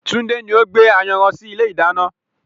Tunde ni o gbé ayanran sì ilé ìdáná